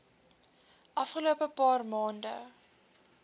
afgelope paar maande